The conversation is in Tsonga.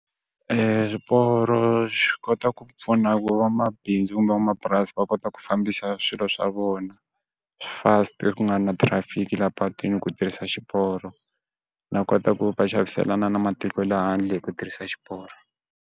swiporo swi kota ku pfuna ku vamabindzu kumbe van'wamapurasi va kota ku fambisa swilo swa vona fast ku nga na traffic la patwini ku tirhisa xiporo na kota ku va xaviselana na matiko laha handle hi ku tirhisa xiporo.